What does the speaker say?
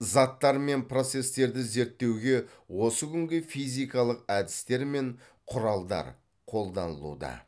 заттар мен процестерді зерттеуге осы күнгі физикалық әдістер мен құралдар қолданылуда